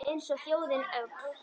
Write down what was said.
Eins og þjóðin öll